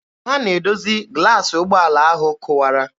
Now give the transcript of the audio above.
Ha na-edozi glaasị ụgbọala ahụ kụwara.